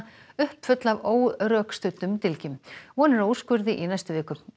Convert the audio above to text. uppfulla af órökstuddum dylgjum von er á úrskurði í næstu viku